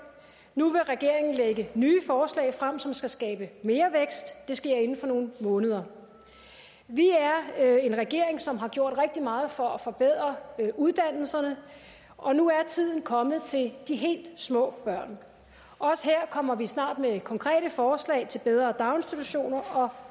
nu vil regeringen lægge nye forslag frem som skal skabe mere vækst det sker inden for nogle måneder vi er en regering som har gjort rigtig meget for at forbedre uddannelserne og nu er tiden kommet til de helt små børn også her kommer vi snart med konkrete forslag til bedre daginstitutioner og